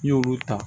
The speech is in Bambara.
N'i y'olu ta